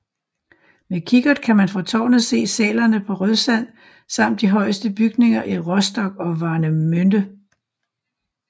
Med kikkert kan man fra tårnet se sælerne på Rødsand samt de højeste bygninger i Rostock og Warnemünde